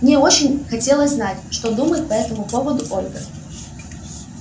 мне очень хотелось знать что думает по этому поводу ольга